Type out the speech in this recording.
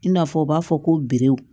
I n'a fɔ u b'a fɔ ko